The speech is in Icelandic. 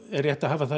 er rétt að hafa